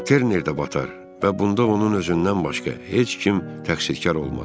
Terner də batar və bunda onun özündən başqa heç kim təqsitkar olmaz.